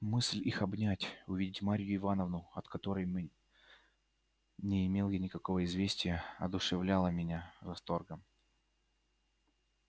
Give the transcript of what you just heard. мысль их обнять увидеть марью ивановну от которой мы не имел я никакого известия одушевляла меня восторгом